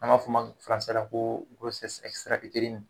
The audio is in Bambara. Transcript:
An b'a fɔ o ma la ko